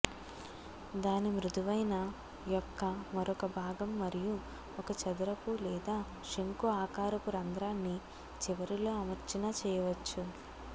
దాని మృదువైన యొక్క మరొక భాగం మరియు ఒక చదరపు లేదా శంఖు ఆకారపు రంధ్రాన్ని చివరిలో అమర్చిన చేయవచ్చు